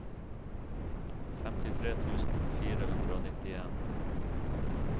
femtitre tusen fire hundre og nittien